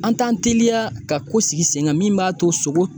An t'an teliya ka ko sigi sen kan min b'a to sogo